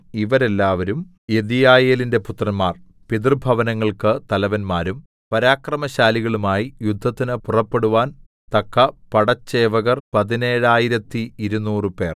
ഇവരെല്ലാവരും യെദീയയേലിന്റെ പുത്രന്മാർ പിതൃഭവനങ്ങൾക്ക് തലവന്മാരും പരാക്രമശാലികളുമായി യുദ്ധത്തിന് പുറപ്പെടുവാൻ തക്ക പടച്ചേവകർ പതിനേഴായിരത്തി ഇരുനൂറുപേർ 17 200